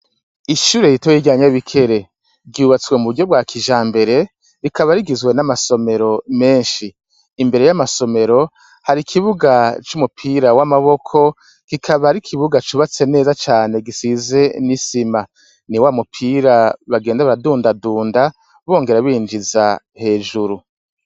Ishure ritoyi rya Nyabikere; ryubatswe mu buryo bwa kijambere rikaba rigizwe n'amasomero menshi. Imbere y'amasomero hari ikibuga c'umupira w'amaboko kikaba ari ikibuga cubatse neza cane gisize n'isima. Ni wa mupira bagenda baradundadunda bongera binjiza hejuru.